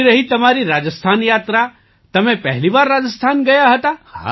કેવી રહી તમારી રાજસ્થાન યાત્રા તમે પહેલી વાર રાજસ્થાન ગયા હતા